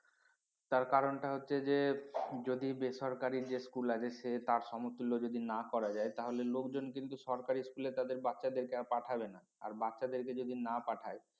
তার কারণটা হচ্ছে যে যদি বেসরকারি যে school আছে তার সমতুল্য যদি না করা যায় তাহলে লোকজন কিন্তু সরকারি school এ তাদের বাচ্চাদেরকে আর পাঠাবে না আর বাচ্চাদেরকে যদি না পাঠায়